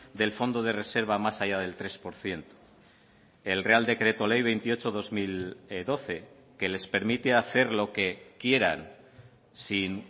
del fondo de reserva más allá del tres por ciento el real decreto ley veintiocho barra dos mil doce que les permite hacer lo que quieran sin